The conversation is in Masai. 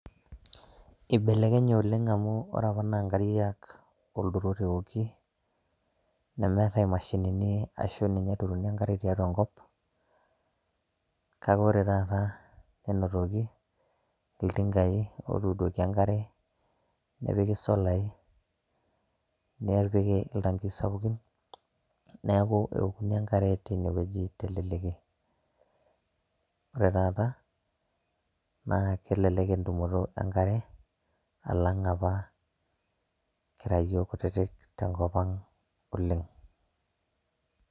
Ibelekenye oleng amu ore apa na nkariak olturot eoki, nemeetai imashinini arashu audu enkare tiatu enkop kake ore taata enoroki otuduoki enkare nepiki solai nepiki ltangii sapukin neaku enkare ketii teleleki na ore taata kelelek entumoto enkare alang apa kira yiok kutitik tenkop aang oleng.